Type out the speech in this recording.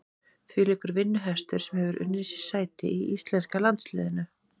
Þvílíkur vinnuhestur sem hefur unnið sér sæti í íslenska landsliðinu.